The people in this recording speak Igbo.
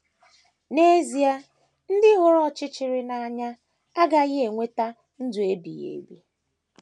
N’ezie, ndị hụrụ ọchịchịrị n’anya agaghị enweta ndụ ebighị ebi.